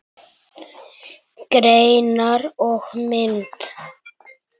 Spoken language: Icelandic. Greinar og mynd